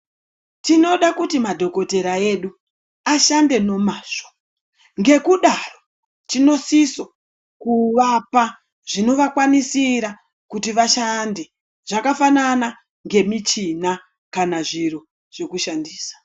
Tinoda kuti madhogotera edu ashande momazvo, ngekudaro tinosiso kuvapa zvinovakwanisira kuti vashande zvakafanana ngemichina kana zviro zvekushandisa.